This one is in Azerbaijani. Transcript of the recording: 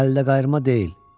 əldə qayırma deyil.